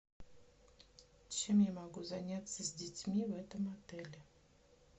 чем я могу заняться с детьми в этом отеле